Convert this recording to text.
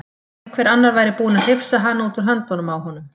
Að einhver annar væri búinn að hrifsa hana út úr höndunum á honum.